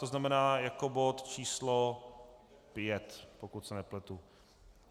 To znamená jako bod číslo 5, pokud se nepletu.